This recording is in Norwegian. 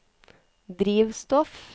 drivstoff